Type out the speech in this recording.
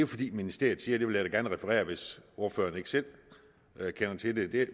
fordi ministeriet siger det vil jeg da gerne referere hvis ordføreren ikke selv kender til det